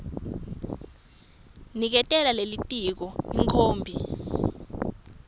niketa lelitiko ikhophi